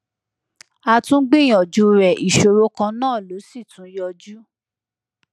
a tún gbìyànjú rẹ ìṣòro kan náà ló sì tún yọjú